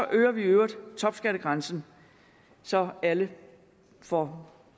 øger i øvrigt topskattegrænsen så alle får